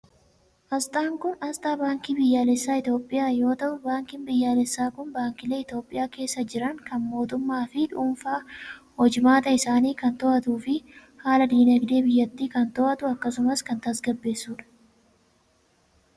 Asxaan kun asxaa Baankii Biyyaalessaa Itoophiyaa yoo ta'u, baankiin biyyaalessaa kun baankiilee Itoophiyaa keessa jiran kan mootummaa fi dhuunfaa hojimaata isaanii kan to'atu fi haala diinagdee biyyatti kan to'atu akkasumas kan tasgabbeessu dha.